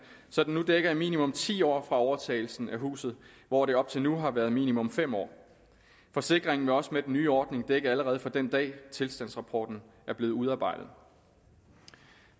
så den nu dækker i minimum ti år fra overtagelsen af huset hvor det op til nu har været i minimum fem år forsikringen vil også med den nye ordning dække allerede fra den dag tilstandsrapporten er blevet udarbejdet